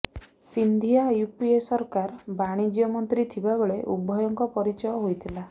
Scindia UPA ସରକାରର ବାଣିଜ୍ୟ ମନ୍ତ୍ରୀ ଥିବା ବେଳେ ଉଭୟଙ୍କ ପରିଚୟ ହୋଇଥିଲା